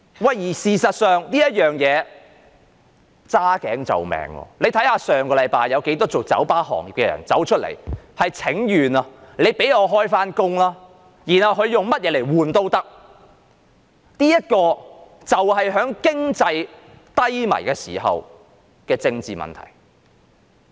事實上，這是"揸頸就命"，大家看到上星期有很多從事酒吧業的人請願，希望當局讓他們復業，而他們願意用任何條件交換，這就是經濟低迷時的政治問題。